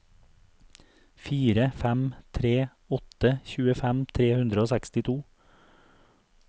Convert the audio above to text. fire fem tre åtte tjuefem tre hundre og sekstito